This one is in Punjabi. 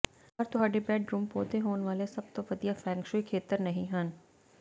ਪਰ ਤੁਹਾਡੇ ਬੈਡਰੂਮ ਪੌਦੇ ਹੋਣ ਵਾਲੇ ਸਭ ਤੋਂ ਵਧੀਆ ਫੈਂਗ ਸ਼ੂਈ ਖੇਤਰ ਨਹੀਂ ਹਨ